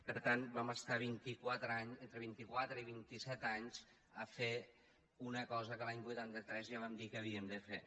per tant vam estar entre vint i quatre i vint i set anys a fer una cosa que l’any vuitanta tres ja vam dir que havíem de fer